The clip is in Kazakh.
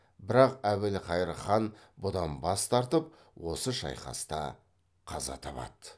бірақ әбілқайыр хан бұдан бас тартып осы шайқаста қаза табады